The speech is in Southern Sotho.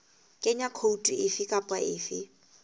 kenya khoutu efe kapa efe